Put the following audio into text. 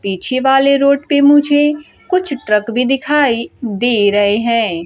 पीछे वाले रोड पे मुझे कुछ ट्रक भी दिखाई दे रहे हैं।